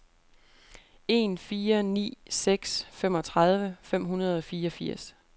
en fire ni seks femogtredive fem hundrede og fireogfirs